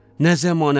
Nə zəmanədir.